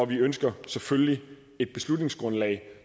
vi ønsker selvfølgelig et beslutningsgrundlag